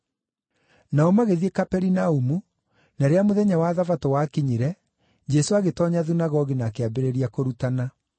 Nao magĩthiĩ Kaperinaumu, na rĩrĩa mũthenya wa Thabatũ wakinyire, Jesũ agĩtoonya thunagogi na akĩambĩrĩria kũrutana.